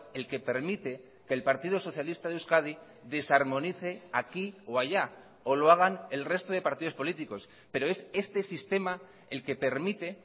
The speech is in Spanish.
el que permite que el partido socialista de euskadi desarmonice aquí o allá o lo hagan el resto de partidos políticos pero es este sistema el que permite